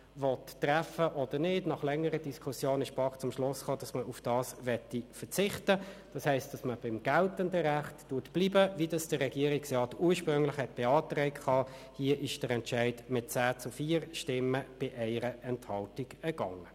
Damit kann ich wahrscheinlich darauf verzichten, zu den einzelnen Artikeln nochmals ein Votum zu halten.